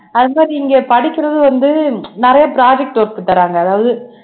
அது மாதிரி இங்க படிக்கிறது வந்து நிறைய project work தராங்க அதாவது